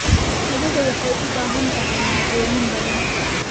Qadada waxay u baahan tahay maaddooyin badan.